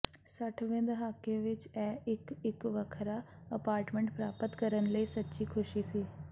ਸੱਠਵੇਂ ਦਹਾਕੇ ਵਿਚ ਇਹ ਇਕ ਵੱਖਰਾ ਅਪਾਰਟਮੈਂਟ ਪ੍ਰਾਪਤ ਕਰਨ ਲਈ ਸੱਚੀ ਖ਼ੁਸ਼ੀ ਸੀ